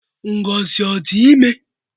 Ngozi ọ dị ime?